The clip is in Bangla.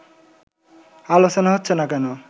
আলোচনা হচ্ছে না কেন